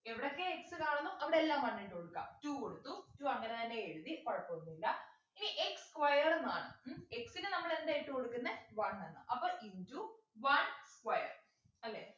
എവിടെയൊക്കെ x കാണുന്നു അവിടെ എല്ലാം one ഇട്ടു കൊടുക്ക two കൊടുത്തു two അങ്ങനെതന്നെ എഴുതി കുഴപ്പൊന്നും ഇല്ല ഇനി x square എന്നാണ് x നെ നമ്മളെന്താ ഇട്ടുകൊടുക്കുന്നെ one എന്ന് അപ്പൊ into one square അല്ലെ